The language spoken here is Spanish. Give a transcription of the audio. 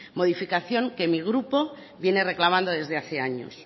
modificación que mi grupo viene reclamando desde hace años